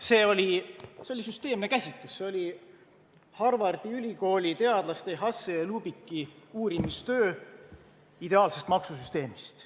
See oli süsteemne käsitlus, see oli Harvardi Ülikooli teadlaste Hussey ja Lubicki uurimistöö ideaalsest maksusüsteemist.